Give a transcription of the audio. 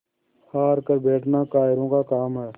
हार कर बैठना कायरों का काम है